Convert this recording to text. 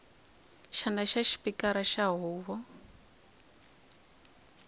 xandla xa xipikara xa huvo